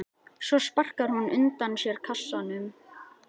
Svo sparkar hún undan sér kassanum.